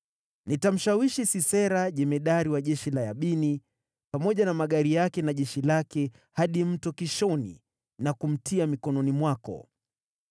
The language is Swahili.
Nitamshawishi Sisera, jemadari wa jeshi la Yabini, pamoja na magari yake na jeshi lake, hadi Mto Kishoni na kumtia mikononi mwako.’ ”